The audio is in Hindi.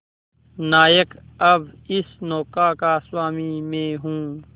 नायक अब इस नौका का स्वामी मैं हूं